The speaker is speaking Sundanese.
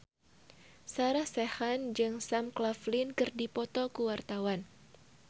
Sarah Sechan jeung Sam Claflin keur dipoto ku wartawan